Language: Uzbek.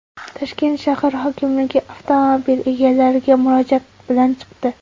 Toshkent shahar hokimligi avtomobil egalariga murojaat bilan chiqdi .